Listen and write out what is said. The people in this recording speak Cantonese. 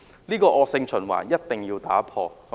所以，這惡性循環一定要打破。